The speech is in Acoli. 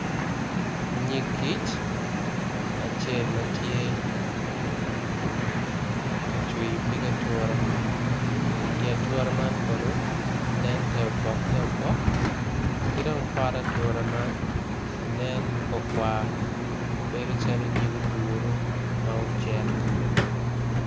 Nyig kic acel matye kacwiyo pi atura i atura man kono nen ter opok ter opok kidong pot ature man nen makwar kwar bedo calo nyig oduru ma ocek.